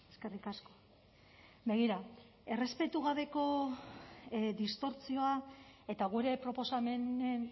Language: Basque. eskerrik asko begira errespetu gabeko distortsioa eta gure proposamenen